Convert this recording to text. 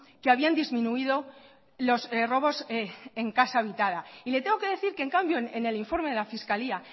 que habían disminuido los robos en casa habitada y le tengo que decir que en cambio en el informe de la fiscalía